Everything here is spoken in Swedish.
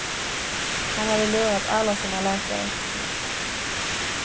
Han hade lurat alla sina läkare. punkt